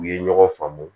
U ye ɲɔgɔn faamu